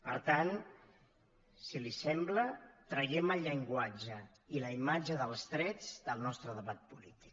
per tant si li sembla traiem el llenguatge i la imatge dels trets del nostre debat polític